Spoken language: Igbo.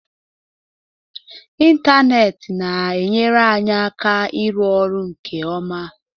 Ịntanetị na-enyere anyị aka ịrụ ọrụ nke ọma.